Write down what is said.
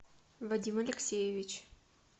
вадим алексеевич